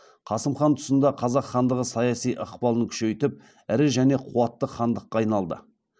қасым хан тұсында қазақ хандығы саяси ықпалын күшейтіп ірі және қуатты хандыққа айналды